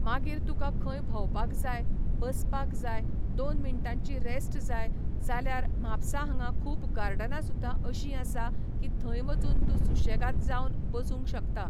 मागीर तुका खंय भोंवपाक जाय, बसपाक जाय, दोन मिनटांची रेस्ट जाय जाल्यार म्हापसा हांगा खूब गार्डना सुद्दा अशीं आसा की थंय वचून तूं सूशेगाद जावन बसूंक शकता.